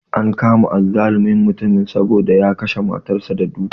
An kama azzalumin mutumin saboda ya kashe matar sa da duka